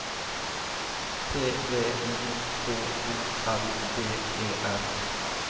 T V I H O L D E R